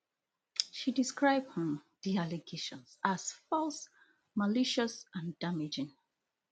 she describe um di allegations as false malicious and damaging